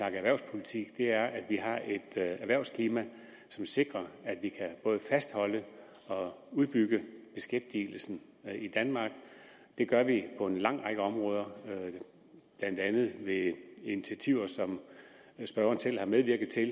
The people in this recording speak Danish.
om erhvervspolitik er at vi har et erhvervsklima som sikrer at vi kan både fastholde og udbygge beskæftigelsen i danmark det gør vi på en lang række områder blandt andet ved initiativer som spørgeren selv har medvirket til